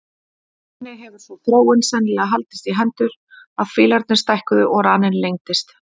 Þannig hefur sú þróun sennilega haldist í hendur að fílarnir stækkuðu og raninn lengdist.